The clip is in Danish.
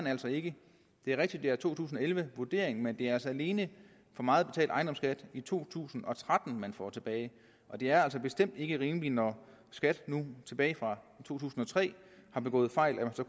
altså ikke det er rigtigt det er to tusind og elleve vurderingen men det er altså alene for meget betalt ejendomsskat i to tusind og tretten man får tilbage og det er bestemt ikke rimeligt når skat nu tilbage fra to tusind og tre har begået fejl at